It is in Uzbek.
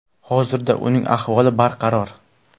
Hozirda uning ahvoli barqaror.